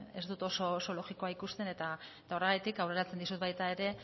ez dut oso logikoa ikusten eta horregatik aurreratzen dizut baita ere